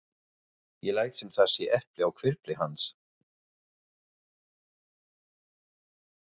Ég læt sem það sé epli á hvirfli hans.